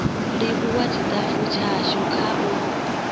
livhuwa tshitafu tshashu kha u